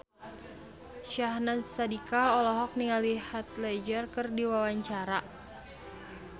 Syahnaz Sadiqah olohok ningali Heath Ledger keur diwawancara